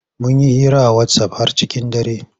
Mun yi hira a wasaf har cikin dare.